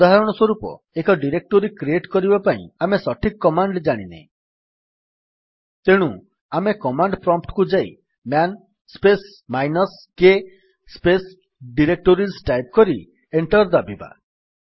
ଉଦାହରଣ ସ୍ୱରୂପ ଏକ ଡିରେକ୍ଟୋରୀ କ୍ରିଏଟ୍ କରିବା ପାଇଁ ଆମେ ସଠିକ କମାଣ୍ଡ୍ ଜାଣିନେ ତେଣୁ ଆମେ କମାଣ୍ଡ୍ ପ୍ରମ୍ପ୍ଟ୍ କୁ ଯାଇ man space minus k space directories type କରି ଏଣ୍ଟର୍ ଦାବିବା